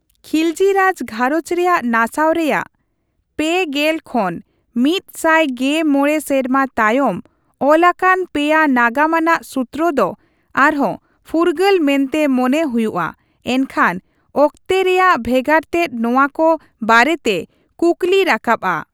ᱠᱷᱤᱞᱡᱤ ᱨᱟᱡᱽ ᱜᱷᱟᱨᱚᱸᱡᱽ ᱨᱮᱭᱟᱜ ᱱᱟᱥᱟᱣ ᱨᱮᱭᱟᱜ ᱓᱐ ᱠᱷᱚᱱ ᱑᱑᱕ ᱥᱮᱨᱢᱟ ᱛᱟᱭᱚᱢ ᱚᱞ ᱟᱠᱟᱱ ᱯᱮᱭᱟ ᱱᱟᱜᱟᱢ ᱟᱱᱟᱜ ᱥᱩᱛᱨᱚ ᱫᱚ ᱟᱨᱦᱚᱸ ᱯᱷᱩᱨᱜᱟᱹᱞ ᱢᱮᱱᱛᱮ ᱢᱚᱱᱮ ᱦᱩᱭᱩᱜᱼᱟ, ᱮᱱᱠᱷᱟᱱ ᱚᱠᱛᱮ ᱨᱮᱭᱟᱜ ᱵᱷᱮᱜᱟᱨᱛᱮᱫ ᱱᱚᱣᱟ ᱠᱚ ᱵᱟᱨᱮᱛᱮ ᱠᱩᱠᱞᱤ ᱨᱟᱠᱟᱵᱼᱟ ᱾